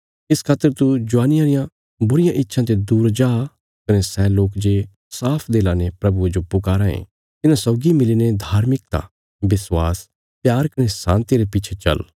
इस खातर तू ज्वानिया रिया बुरियां इच्छां ते दूर जा कने सै लोक जे साफ दिला ने प्रभुये जो पुकाराँ ये तिन्हां सौगी मिलीने धार्मिकता विश्वास प्यार कने शान्तिया रे पिच्छे चल